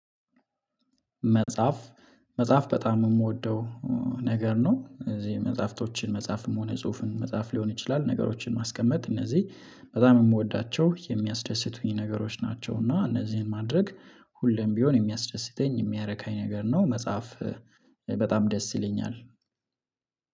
መጽሐፍ መጽሐፍ በጣም የምወደው ነገር ነው። እዚህ መጽሐፍቶችን መጽሐፍም ሆነ ጽሁፍን መጽሐፍ ሊሆን ይችላል ነገሮችን ማስቀመጥ እነዚህ በጣም የምወዳቸው የሚያስደስቱኝ ነገሮች ናቸው። እና እነዚህን ማድረግ ሁሌም ቢሆን የሚያስደስተኝ የሚያረካኝ ነገር ነው። መጽሐፍ በጣም ደስ ይለኛል።